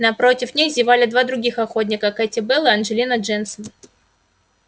напротив них зевали два других охотника кэти белл и анджелина дженсон